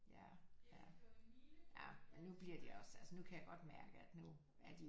Ja ja men nu bliver de også altså nu kan jeg godt mærke at nu er de jo